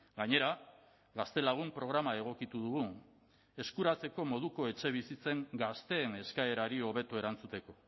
gainera gaztelagun programa egokitu dugu eskuratzeko moduko etxebizitzen gazteen eskaerari hobeto erantzuteko